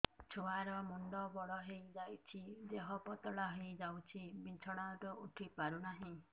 ଛୁଆ ର ମୁଣ୍ଡ ବଡ ହୋଇଯାଉଛି ଦେହ ପତଳା ହୋଇଯାଉଛି ବିଛଣାରୁ ଉଠି ପାରୁନାହିଁ